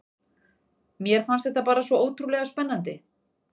Mér fannst þetta bara svo ótrúlega spennandi.